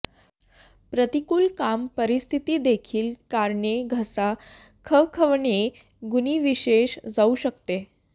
प्रतिकूल काम परिस्थिती देखील कारणे घसा खवखवणे गुणविशेष जाऊ शकते